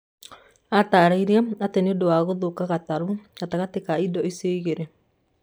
Aatarĩirie atĩ nĩ ũndũ wa kũgũtha gatarũ gatagatĩ ka indo icio igĩrĩ.